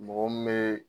Mɔgɔ min bɛ